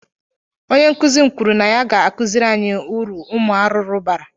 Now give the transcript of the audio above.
Onye nkuzi m kwuru na ya ga-akuziri anyi uru umu arụrụ bara